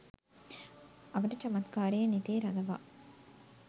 අවට චමත්කාරය නෙතේ රඳවා